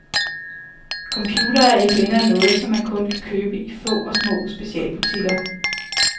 Computere er ikke længere noget, som man kun kan købe i få og små specialbutikker.